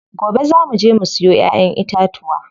Gobe zaa muje mu siyo ƴaƴen itatuwa.